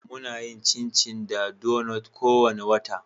Muna yin chinchi da donuts kowane wata.